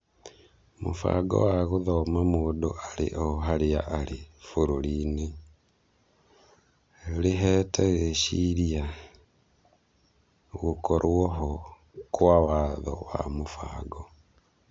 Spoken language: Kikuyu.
Mũbango wa gũthoma mũndũ arĩ oharĩa arĩ bũrũri-inĩ: Rĩhete rĩciria gũkorwo-ho kwa watho na mũbango